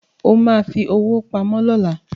O ma fi owó pamọ́ lọ́la